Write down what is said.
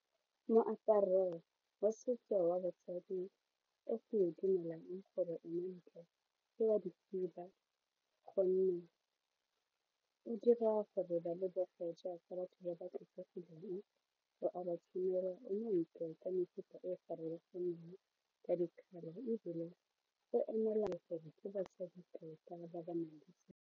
Moaparo wa setso wa basadi o go dumelang gore ke wa dikhiba gonne o dira gore ba lebege jaaka batho ba ba tlotlegileng o a ba tshwanela, o montle ka mefuta e farologaneng ka di colour ebile o gore ke basadi tota ba ba nang le .